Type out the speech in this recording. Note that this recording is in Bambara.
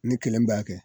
Ne kelen b'a kɛ